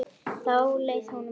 Þá leið honum best.